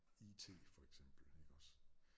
IT for eksempel ikke også